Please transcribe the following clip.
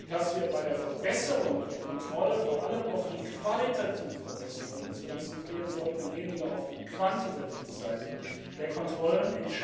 dass wir uns bei der Verbesserung der Kontrolle, vor allem auf die qualitative Verbesserung konzentrieren sollten und weniger auf die quantitative Seite der Kontrollen.